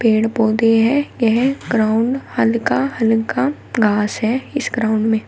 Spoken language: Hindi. पेड़ पौधे हैं यह ग्राउंड हल्का हल्का घास है इस ग्राउंड में।